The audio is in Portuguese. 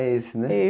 É esse, né?